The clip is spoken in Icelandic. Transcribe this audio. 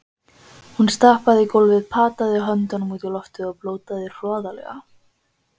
Hún stappaði í gólfið, pataði höndunum út í loftið og blótaði hroðalega.